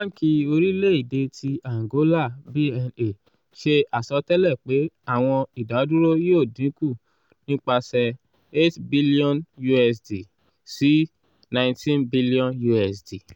banki orilẹ-ede ti angola bna ṣe asọtẹlẹ pe awọn idaduro yoo dinku nipasẹ eight billion usd sí nieteen billion usd